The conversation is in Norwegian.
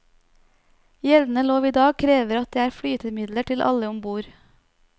Gjeldende lov i dag krever at det er flytemidler til alle om bord.